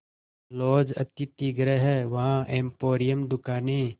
laws अतिथिगृह हैं वहाँ एम्पोरियम दुकानें